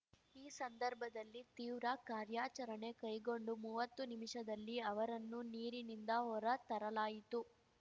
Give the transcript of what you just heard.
ಈ ಸಂದರ್ಭದಲ್ಲಿ ತೀವ್ರ ಕಾರ್ಯಾಚರಣೆ ಕೈಗೊಂಡು ಮುವತ್ತು ನಿಮಿಷದಲ್ಲಿ ಅವರನ್ನು ನೀರಿನಿಂದ ಹೊರ ತರಲಾಯಿತು